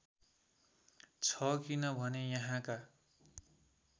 छ किनभने यहाँका